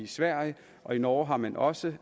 sverige og i norge har man også